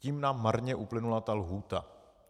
Tím nám marně uplynula ta lhůta.